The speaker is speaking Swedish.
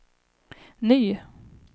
ny